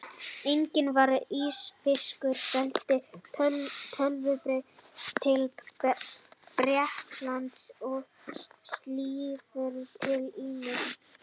Einnig var ísfiskur seldur töluvert til Bretlands og síldarafurðir til ýmissa